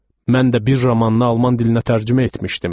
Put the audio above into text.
mən də bir romanını alman dilinə tərcümə etmişdim.